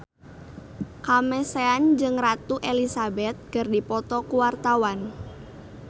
Kamasean jeung Ratu Elizabeth keur dipoto ku wartawan